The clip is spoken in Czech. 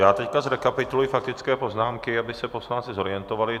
Já teď zrekapituluji faktické poznámky, aby se poslanci zorientovali.